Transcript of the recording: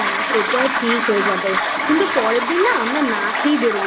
হ্যাঁ সেটা ঠিক হয়ে যাবে কিন্তু পরের দিন না আমরা না খেয়েই বেরোবো